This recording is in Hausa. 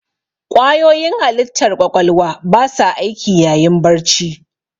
Ƙwayoyin halittar ƙwaƙwalwa ba sa aiki yayin barci.